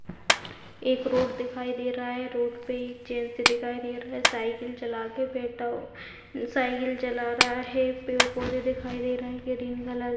एक रोड दिखाई दे रहा है रोड पे एक जेंट्स दिखाई दे रहा है साइकिल चला के साइकिल चला रहा है पेड़-पौधे दिखाई दे रहे है ग्रीन कलर --